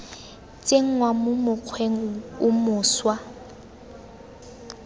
tsenngwa mo mokgweng o mošwa